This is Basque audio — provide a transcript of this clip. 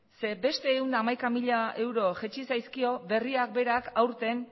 ze beste ehun eta hamaika mila euro jaitsi zaizkio berriak berak aurten